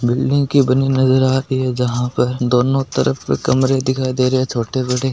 बिल्डिंग की बनी नजर आ रही है जहां पर दोनों तरफ कमरे दिखाई दे रहे हैं छोटे बड़े।